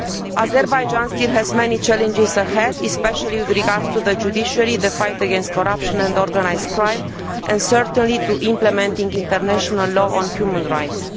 Azerbaijan still has many challenges ahead, especially with regard to the judiciary, to the fight against corruption and organised crime, and in particular to implementing international law on human rights.